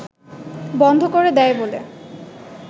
বন্ধ করে দেয় বলে